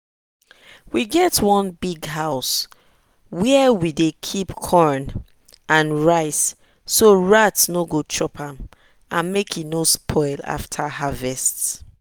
we get one big house where we dey keep corn and rice so rat no go chop am and make e no spoil after harvest.